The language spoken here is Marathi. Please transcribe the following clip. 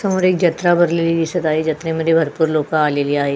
समोर एक जत्रा भरलेली दिसत आहे जत्रेमध्ये भरपूर लोकं आलेली आहे.